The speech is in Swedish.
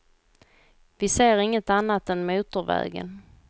Vi ser inget annat än motorvägen.